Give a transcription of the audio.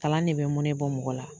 Kalan ne bɛ mɔnɛ bɔ mɔgɔ la.